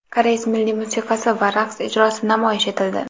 Koreys milliy musiqasi va raqs ijrosi namoyish etildi.